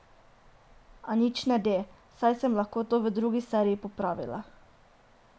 A nič ne de, saj sem lahko to v drugi seriji popravila.